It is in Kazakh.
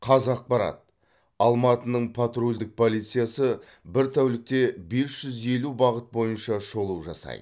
қазақпарат алматының патрульдік полициясы бір тәулікте бес жүз елу бағыт бойынша шолу жасайды